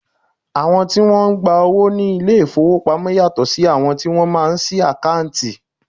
Àwọn tí Wọ́n ń gba owó ní ilé ìfowópamọ́ yàtọ̀ sí àwọn tí wọ́n máa ń sí àkáǹtì.